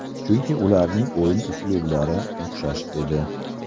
Chunki ularning o‘yin uslublari o‘xshash edi.